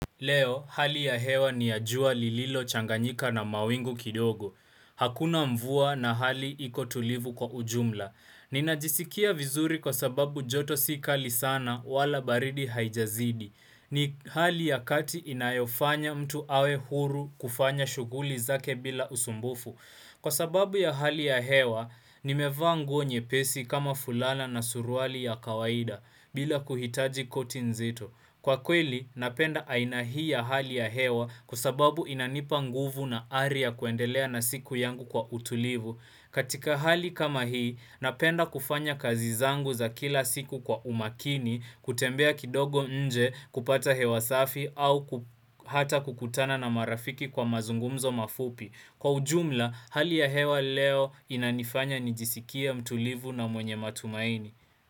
Leo, hali ya hewa ni ya jua lililochanganyika na mawingu kidogo. Hakuna mvua na hali iko tulivu kwa ujumla. Ninajisikia vizuri kwa sababu joto si kali sana wala baridi haijazidi. Ni hali ya kati inayofanya mtu awe huru kufanya shughuli zake bila usumbufu. Kwa sababu ya hali ya hewa, nimevaa nguo nyepesi kama fulana na suruali ya kawaida bila kuhitaji koti nzito. Kwa kweli, napenda aina hii ya hali ya hewa kwa sababu inanipa nguvu na ari ya kuendelea na siku yangu kwa utulivu. Katika hali kama hii, napenda kufanya kazi zangu za kila siku kwa umakini kutembea kidogo nje kupata hewa safi au ku hata kukutana na marafiki kwa mazungumzo mafupi. Kwa ujumla, hali ya hewa leo inanifanya nijisikie mtulivu na mwenye matumaini.